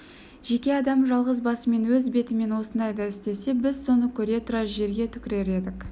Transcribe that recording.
жеке адам жалғыз басымен өз бетімен осындайды істесе біз соны көре тұра жерге түкірер едік